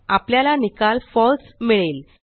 आपल्याला निकाल फळसे मिळेल